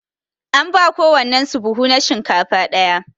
An ba kowannen su buhu na shinkafa daya.